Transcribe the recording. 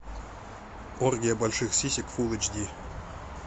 оргия больших сисек фул эйч ди